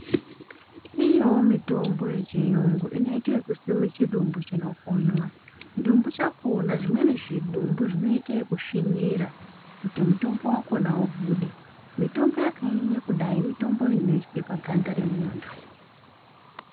Iriyowo mitombo yechiyungu inoite ekuiswe muvchidumbu chinokonywa, chidumbu chakhona zvimweni zvidumbu zvinoita ekusvinira out mutombo ubude, mitombo yakanyanya kudai mitombo inoiswe paganda remunhu.